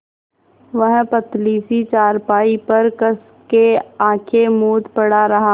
वह पतली सी चारपाई पर कस के आँखें मूँदे पड़ा रहा